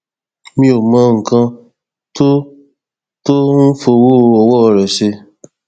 mi ò mọ nǹkan tó tó ń fọwọ ọwọ rẹ ṣe